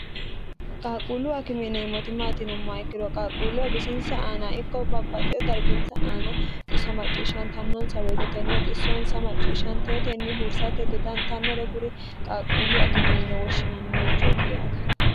qaalqquullu akime yineemmoti maati yinummoha ikkiro qaaqquulleho bisinsa aana ikko babbaxeo darginsa aana xisso macciishshantannonsa woyite tenne issonsa macciishshanteotenni hursatte dodantannore kuri qaalquullu akime yine woshshinannirichooti yaate.